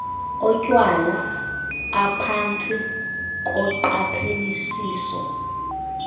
otywala aphantsi koqaphelisiso